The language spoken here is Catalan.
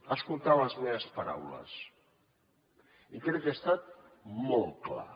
ha escoltat les meves paraules i crec que he estat molt clar